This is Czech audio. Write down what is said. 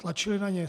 Tlačili na ně.